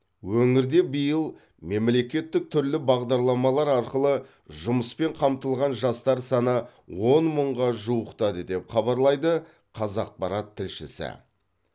өңірде биыл мемлекеттік түрлі бағдарламалар арқылы жұмыспен қамтылған жастар саны он мыңға жуықтады деп хабарлайды қазақпарат тілшісі